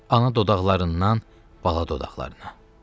Ana dodaqlarından bala dodaqlarına.